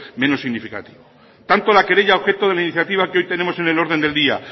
menos significativo tanto la querella objeto de la iniciativa que tenemos en el orden del día